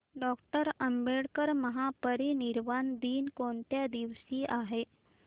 doctor Ambedkar महापरिनिर्वाण दिन कोणत्या दिवशी आहे